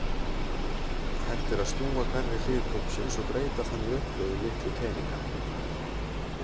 Hægt er að snúa hverri hlið kubbsins og breyta þannig uppröðun litlu teninganna.